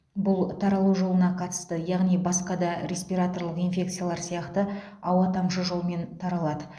бұл таралу жолына қатысты яғни басқа да респираторлық инфекциялар сияқты ауа тамшы жолмен таралады